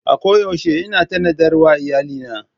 A koyaushe ina tanadar wa iyalina.